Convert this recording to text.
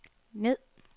ned